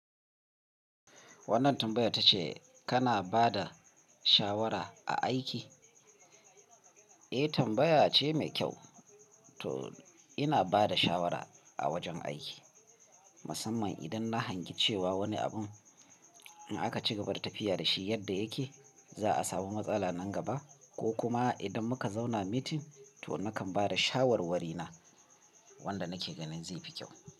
Wannan tambayar tace kana ba da shawara a aiki? Eh, tambaya ce mai kyau. To ina ba da shawara a wajen aiki, musamman idan na hangi cewa wani abun in aka cigaba da tafiya da shi yadda yake, za a samu matsala nan gaba ko kuma idan muka zauna meeting, toh nakan ba da shawarwari na wanda nake ganin zai fi kyau.